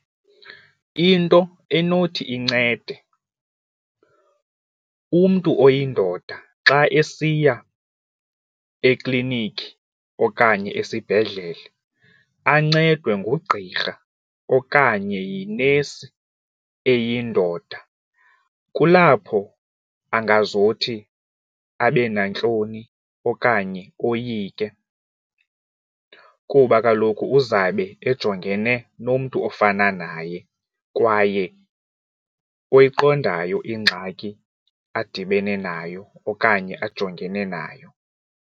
Into enothi incede umntu oyindoda xa esiya eklinikhi okanye esibhedlele ancedwe ngugqirha okanye yinesi eyindoda. Kulapho angazothi abe nantloni okanye oyike kuba kaloku uzabe ejongene nomntu ofana naye kwaye oyiqondayo ingxaki adibene nayo okanye ajongene nayo.